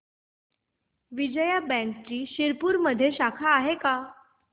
विजया बँकची शिरपूरमध्ये शाखा आहे का